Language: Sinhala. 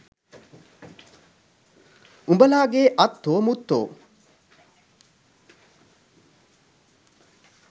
උබලාගේ අත්තෝ මුත්තෝ